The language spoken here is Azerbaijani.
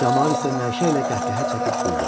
Camaat isə nəşə ilə qəhqəhə çəkib güldü.